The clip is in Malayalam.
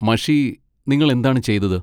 മഷി നിങ്ങൾ എന്താണ് ചെയ്തത്?